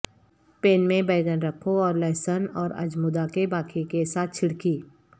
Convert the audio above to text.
pain میں بینگن رکھو اور لہسن اور اجمودا کے باقی کے ساتھ چھڑکی